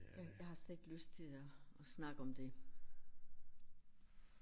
Jeg jeg har slet ikke lyst til at at snakke om det